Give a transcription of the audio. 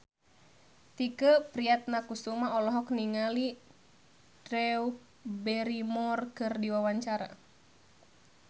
Tike Priatnakusuma olohok ningali Drew Barrymore keur diwawancara